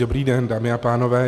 Dobrý den, dámy a pánové.